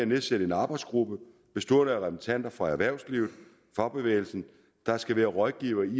nedsætte en arbejdsgruppe bestående af repræsentanter for erhvervslivet og fagbevægelsen der skal være rådgivere i